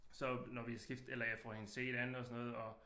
Så når vi skift eller jeg får hende set an og sådan noget og